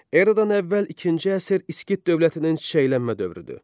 Eradan əvvəl ikinci əsr İskit dövlətinin çiçəklənmə dövrüdür.